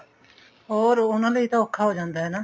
ਹੋਰ ਉਹਨਾ ਲਈ ਤਾਂ ਔਖਾ ਹੋ ਜਾਂਦਾ ਹਨਾ